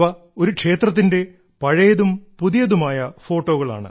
ഇവ ഒരു ക്ഷേത്രത്തിന്റെ പഴയതും പുതിയതുമായ ഫോട്ടോകളാണ്